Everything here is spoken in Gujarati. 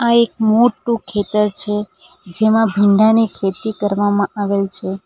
એક મોટું ખેતર છે જેમાં ભીંડા ની ખેતી કરવામાં આવેલ છે.